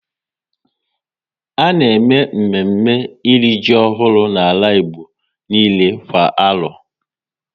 A na eme mme mme e ri ji ọhụrụ n'ala Igbo niile kwa arọ